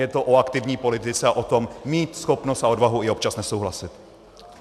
Je to o aktivní politice a o tom mít schopnost a odvahu i občas nesouhlasit.